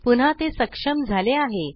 पुन्हा ते सक्षम झाले आहे